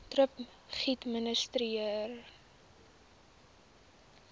thrip geadministreer